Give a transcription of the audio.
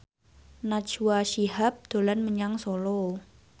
Najwa Shihab dolan menyang Solo